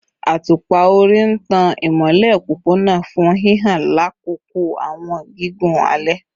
Atupa-ori n tan imọlẹ opopona fun hihan lakoko awọn gigun alẹ